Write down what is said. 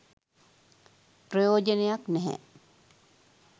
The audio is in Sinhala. ප්‍රයෝජනයක් නැහැ